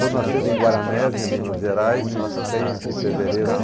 Sou nascido em Guaranés, Minas Gerais, em seis de fevereiro de